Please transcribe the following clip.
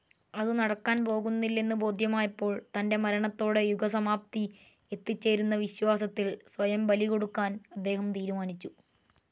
അതു നടക്കാൻ പോകുന്നില്ലെന്ന് ബോധ്യമായപ്പോൾ തൻ്റെ മരണത്തോടെ യുഗസമാപ്തി എത്തിച്ചേരുമെന്ന വിശ്വാസത്തിൽ സ്വയം ബലികൊടുക്കാൻ അദ്ദേഹം തീരുമാനിച്ചു.